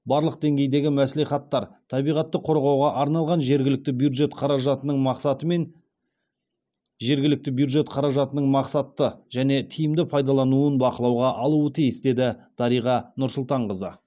барлық деңгейдегі мәслихаттар табиғатты қорғауға арналған жергілікті бюджет қаражатының мақсатымен жергілікті бюджет қаражатының мақсатты және тиімді пайдаланылуын бақылауға алуы тиіс деді дариға нұрсұлтанқызы